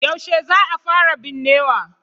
Yaushe za a fara binnewa.